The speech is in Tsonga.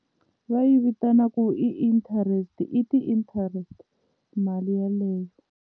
Va yi vitanaka ku i interest i ti-interest mali yeleyo.